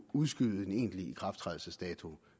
udskyde den endelige ikrafttrædelsesdato